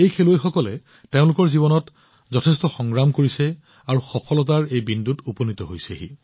এই খেলুৱৈসকলে তেওঁলোকৰ জীৱনত যথেষ্ট সংগ্ৰাম কৰিছে আৰু সফলতাৰ এই বিন্দুত উপনীত হৈছে